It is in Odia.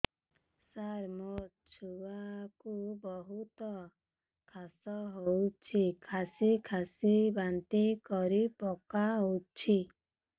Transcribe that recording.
ସାର ମୋ ଛୁଆ କୁ ବହୁତ କାଶ ହଉଛି କାସି କାସି ବାନ୍ତି କରି ପକାଉଛି